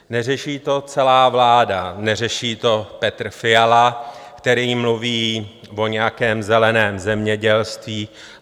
Neřeší to celá vláda, neřeší to Petr Fiala, který mluví o nějakém zeleném zemědělství.